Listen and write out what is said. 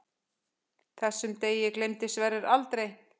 Þessum degi gleymdi Sverrir aldrei.